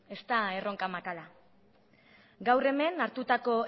ez da erronka makala gaur hemen hartutako